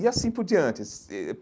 E assim por diante eh eh.